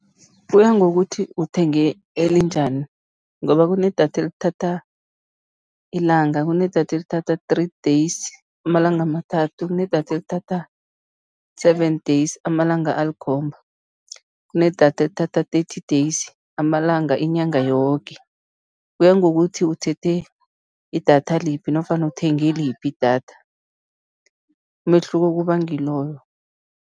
Kuya ngokuthi uthenge elinjani ngoba kunedatha elithatha ilanga, kunedatha elithatha three days, amalanga amathathu, kunedatha elithatha seven days, amalanga alikhomba, kunedatha elithatha thirty days, amalanga inyanga yoke, kuya ngokuthi uthethe idatha liphi nofana uthenge liphi idatha, umehluko kuba ngiloyo.